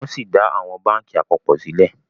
wón sí dá àwọn bánkì apapọ sílè